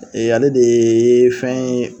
Ee ale de ye fɛn ye